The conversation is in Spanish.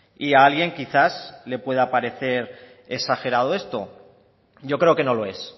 y a alguien quizás le pueda parecer exagerado esto yo creo que no lo es